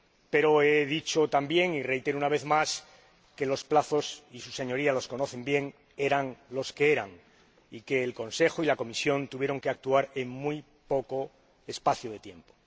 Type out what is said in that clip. Pero he dicho también, y reitero una vez más, que los plazos ─y sus Señorías los conocen bien─ eran los que eran y que el Consejo y la Comisión tuvieron que actuar en muy poco espacio de tiempo.